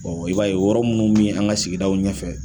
Ɔ i b'a ye o yɔrɔ minnu bɛ an ka sigidaw ɲɛ fɛ